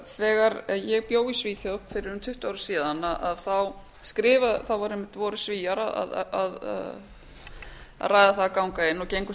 þegar ég bjó í svíþjóð fyrir um tuttugu árum síðan voru einmitt svíar að ræða það að ganga inn og